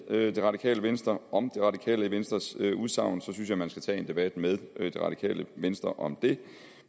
radikale venstre om radikale venstres udsagn synes jeg at man skal tage en debat med radikale venstre om det